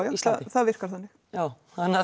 það virkar þannig já þannig að